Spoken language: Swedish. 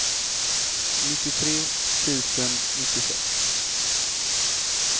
nittiotre tusen nittiosex